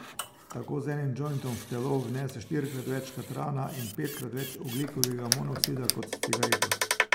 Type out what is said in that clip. Tako z enim džointom v telo vnese štirikrat več katrana in petkrat več ogljikovega monoksida kot s cigareto.